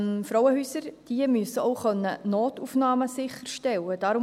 Frauenhäuser müssen auch Notaufnahmen sicherstellen können.